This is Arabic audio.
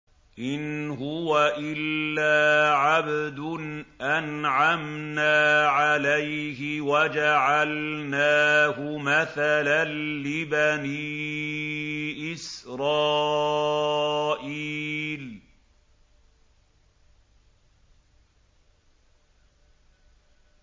إِنْ هُوَ إِلَّا عَبْدٌ أَنْعَمْنَا عَلَيْهِ وَجَعَلْنَاهُ مَثَلًا لِّبَنِي إِسْرَائِيلَ